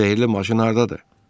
Sehrli maşın hardadır?